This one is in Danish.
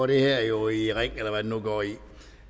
det her jo i ring eller hvad det nu går i